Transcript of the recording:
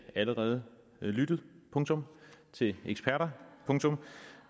allerede lyttet punktum til eksperter punktum